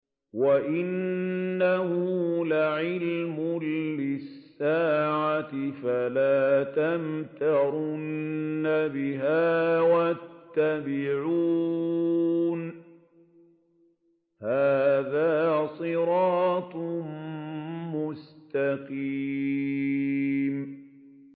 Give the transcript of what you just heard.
وَإِنَّهُ لَعِلْمٌ لِّلسَّاعَةِ فَلَا تَمْتَرُنَّ بِهَا وَاتَّبِعُونِ ۚ هَٰذَا صِرَاطٌ مُّسْتَقِيمٌ